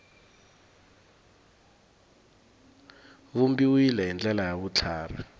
vumbiwile hi ndlela ya vutlhari